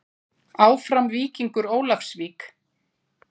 Áfram Víkingur Ólafsvík.